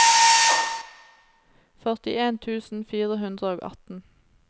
førtien tusen fire hundre og atten